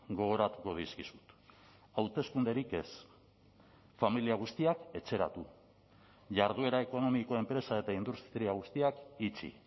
gogoratuko dizkizut hauteskunderik ez familia guztiak etxeratu jarduera ekonomiko enpresa eta industria guztiak itxi